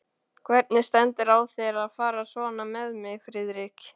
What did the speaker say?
Hvernig stendur á þér að fara svona með mig, Friðrik?